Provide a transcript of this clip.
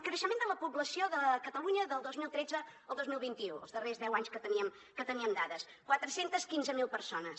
creixement de la població de catalunya del dos mil tretze al dos mil vint u els darrers deu anys que teníem dades quatre cents i quinze mil persones